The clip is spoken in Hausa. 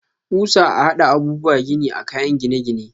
Kusa a hada abubuwa gini a kayan gine-gine.